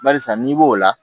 Barisa n'i b'o la